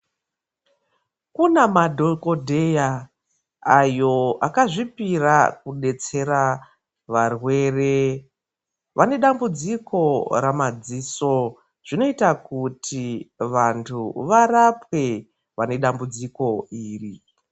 Kune madhokoteya ayo akazvipira kudetsera varwere vane dambudziko ramadziso zvinoita kuti vantu varapwe vane dambudziko iri.